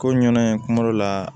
Ko ɲana in kuma dɔ la